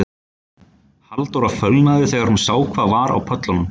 Halldóra fölnaði þegar hún sá hvað var á pöllunum